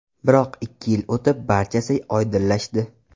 Biroq ikki yil o‘tib, barchasi oydinlashdi.